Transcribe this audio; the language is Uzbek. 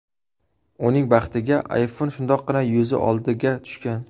Uning baxtiga iPhone shundoqqina yuzi oldiga tushgan.